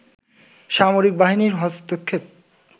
সামরিক বাহিনীর হস্তক্ষেপ